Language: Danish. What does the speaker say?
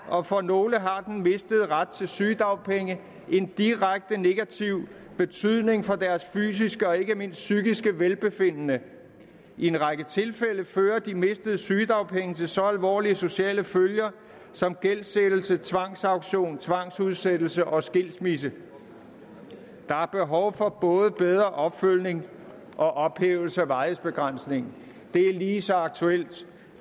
og for nogle har den mistede ret til sygedagpenge en direkte negativ betydning for deres fysiske og ikke mindst psykiske velbefindende i en række tilfælde fører de mistede sygedagpenge til så alvorlige sociale følger som gældsættelse tvangsauktion tvangsudsættelse og skilsmisse der er behov for både bedre opfølgning og ophævelse af varighedsbegrænsningen det er lige så aktuelt